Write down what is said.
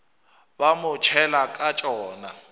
ba mo tšhela ka tšona